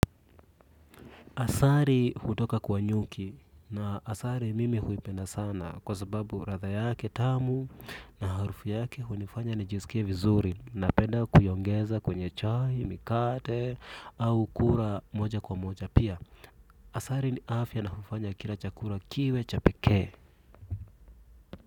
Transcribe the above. Asari hutoka kwa nyuki na asari mimi huipenda sana kwa sababu ratha yake tamu na harufu yake hunifanya nijisikie vizuri na penda kuyongeza kwenye chahi, mikate au kura moja kwa moja pia. Asari ni afya na hufanya kila chakura kiwe chapeke.